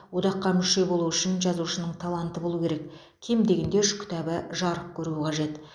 одаққа мүше болу үшін жазушының таланты болуы керек кем дегенде үш кітабы жарық көруі қажет